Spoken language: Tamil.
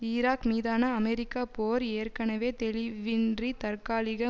ஈராக் மீதான அமெரிக்க போர் ஏற்கனவே தெளிவின்றி தற்காலிக